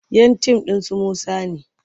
Yan tim ɗin su Musa ne.